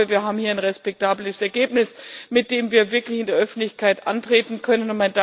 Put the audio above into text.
Aber ich glaube, wir haben hier ein respektables Ergebnis, mit dem wir wirklich in der Öffentlichkeit antreten können.